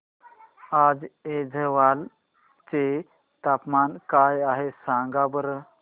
आज ऐझवाल चे तापमान काय आहे सांगा बरं